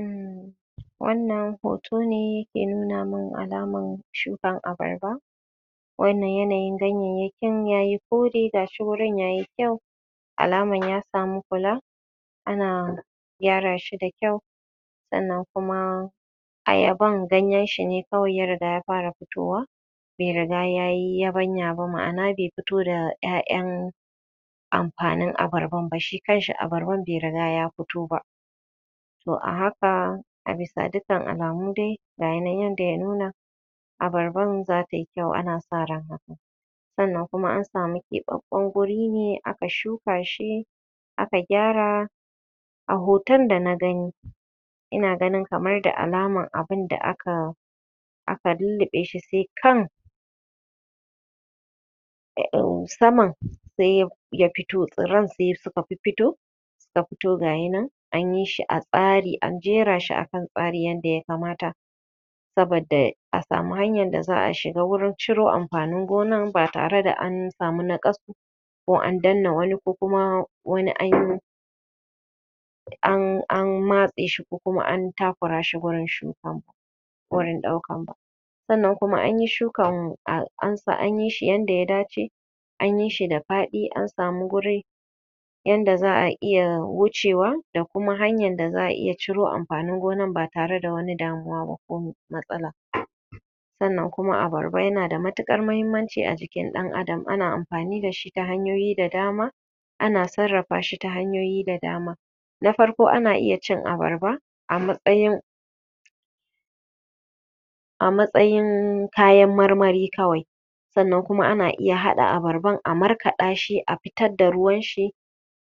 um Wannan hoto ne ke nuna man alamar shukar barba. wannan yanayin ganyayyakin ya yi kore, ga shi wurin ya yi kyau. Alamar ya samu kula, ana gyara shi da kyau sannan kuma Ayaban ganyanshi ne kawai ya riga ya fara fitowa, bai riga ya yi yabanya ba, ma'ana bai fito da ƴaƴan amfanin abarbar ba. Shi kanshi abarban bai riga ya fito ba. To a haka a bisa dukkan alamu dai ga ya nan yadda ya nuna, abarbar za ta yi kyau, ana sa ran haka. Sannan kuma an samu keɓaɓɓen guri ne aka shuka shi, aka gyara a hoton da na gani, ina ganin kamar da alamar abin da aka aka lulluɓe shi sai kan saman sai ya fito tsirran sai suka fiffito ta fito gaya nan an yi shi a tsari an jera shi a kan tsari yadda ya kamata. Saboda a samu hanyar da za a shiga wurin ciro amfanin gonan ba tare da an samu naƙasu ko an danne wani ko kuma wani an an matse shi ko kuma an takura shi wurin shukan ba, wurin ɗaukan ba sannan kuma an yi shukan an yi shi yadda ya dace an yi shi da faɗi an samu guri yadda za a iya wucewa da kuma hanyar da za a iya ciro amfanin gonar ba tare da wani damuwa ba ko matsala. Sannan kuma, abarba yana da matuƙar muhimmanci a jikin ɗan'adan, ana amfani da shi ta hanyoyi da dama ana sarrafa shi ta hanyoyi da dama. Na farko ana iya cin abarba a matsayin a matsayin kayan marmari kawai. Sannan kuma ana iya haɗa abarban a markaɗa shi a fitar da ruwanshi,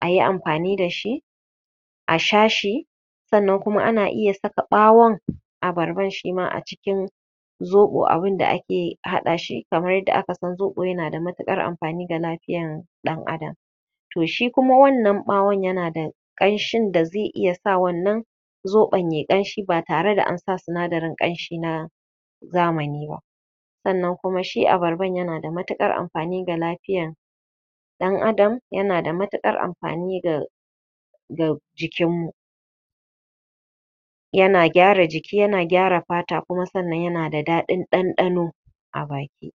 a yi amfani da shi, a sha shi. Sannan kuma ana iya saka ɓawon abarban shi ma a cikin zoɓo abinda ake haɗa shi kamar yadda aka san zoɓo yana da matuƙar amfani ga lafiyar ɗan'adam To shi kuma wannan ɓawon yana da ƙanshin da zai iya sa wannan zoɓon ya yi ƙanshi ba tare da an sa sinadarin ƙanshi na zamani ba. Sannan kuma shi abarban yana da matuƙar amfani ga lafiyar ɗan'adam, yana da matuƙar amfani ga ga jikinmu. Yana gyara jiki, yana gyara fata kuma sannan yana da daɗin ɗanɗano, a baki.